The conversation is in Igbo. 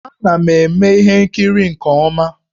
Ana m eme ihe nkiri nke ọma